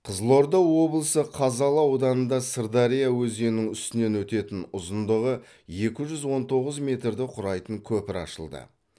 қызылорда облысы қазалы ауданында сырдария өзенінің үстінен өтетін ұзындығы екі жүз он тоғыз метрді құрайтын көпір ашылды